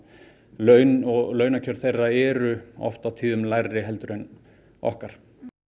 laun og launakjör þeirra eru oft á tíðum lægri heldur en okkar